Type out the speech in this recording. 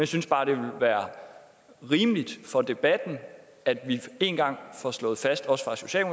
synes bare det ville være rimeligt for debatten at vi én gang får slået fast